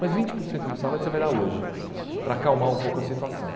Mas vinte por cento do salário você vai dar hoje, para acalmar um pouco a situação.